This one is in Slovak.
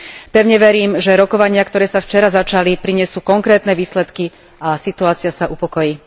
Pevne verím, že rokovania, ktoré sa včera začali, prinesú konkrétne výsledky a situácia sa upokojí.